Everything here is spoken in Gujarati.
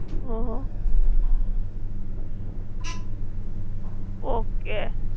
Hmm hmm. Okay.